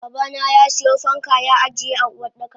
Babana yasiyo fanka ya ajiye a Uwardaka.